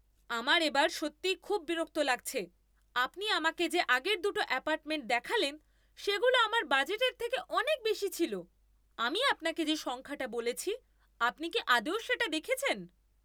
আমার এবার সত্যিই খুব বিরক্ত লাগছে। আপনি আমাকে যে আগের দুটো অ্যাপার্টমেন্ট দেখালেন সেগুলো আমার বাজেটের থেকে অনেক বেশি ছিল। আমি আপনাকে যে সংখ্যাটা বলেছি, আপনি কি আদৌ সেটা দেখেছেন?